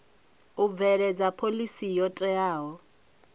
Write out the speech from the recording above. u bveledza phoḽisi yo teaho